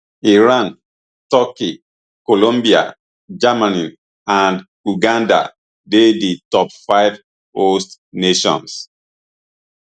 iran turkey colombia germany and uganda dey di top five host nations